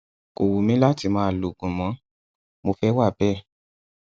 kò wù mí láti máa lo oògùn mọ mo fẹ wà bẹẹ